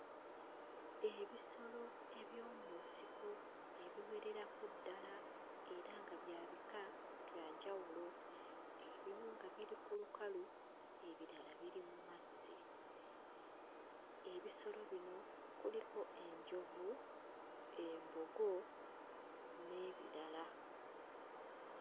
Ebisolo eby'omu nsiko ebiwererako ddala era nga bya bika bya njawulo ebimu nga biri ku lukalu ebirala biri mu mazzi. Ebisolo bino kuliko enjovu, embogo n'ebirala.